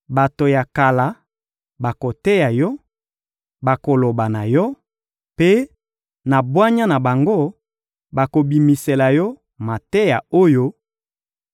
Bato ya kala bakoteya yo, bakoloba na yo, mpe, na bwanya na bango, bakobimisela yo mateya oyo: